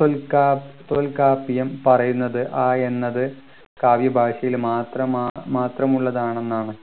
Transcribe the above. തൊൽക്കാ തൊൽകാപ്പിയും പറയുന്നത് ആ എന്നത് കാവ്യഭാഷയിൽ മാത്രമാ മാത്രമുള്ളതാണെന്നാണ്